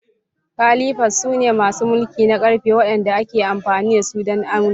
Calipers sune masu mulki na ƙarfe waɗanda ake amfani da su don aunawa.